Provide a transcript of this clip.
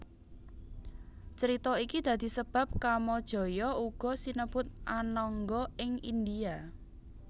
Crita iki dadi sebab Kamajaya uga sinebut Anangga ing India